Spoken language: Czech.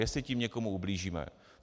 Jestli tím někomu ublížíme.